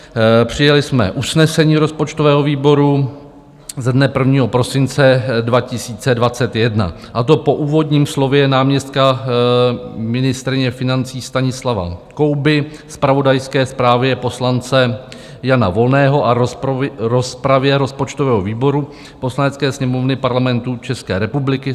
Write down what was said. Přijali jsme usnesení rozpočtového výboru ze dne 1. prosince 2021, a to: "Po úvodním slově náměstka ministryně financí Stanislava Kouby, zpravodajské zprávě poslance Jana Volného a rozpravě rozpočtového výboru Poslanecké sněmovny Parlamentu České republiky